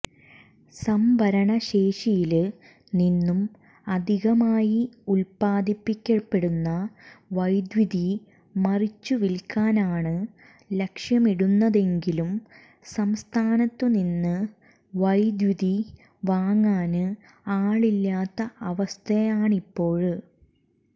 സംഭരണ ശേഷിയില് നിന്നും അധികാമായി ഉല്പാദിപ്പിക്കപ്പെടുന്ന വൈദ്യുതി മറിച്ചുവില്ക്കാനാണ് ലക്ഷ്യമിടുന്നതെങ്കിലും സംസ്ഥാനത്തു നിന്ന് വൈദ്യുതി വാങ്ങാന് ആളില്ലാത്ത അവസ്ഥയാണിപ്പോള്